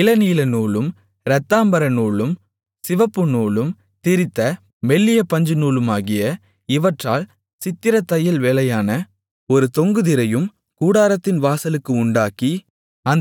இளநீலநூலும் இரத்தாம்பரநூலும் சிவப்புநூலும் திரித்த மெல்லிய பஞ்சுநூலுமாகிய இவற்றால் சித்திரத் தையல் வேலையான ஒரு தொங்கு திரையும் கூடாரத்தின் வாசலுக்கு உண்டாக்கி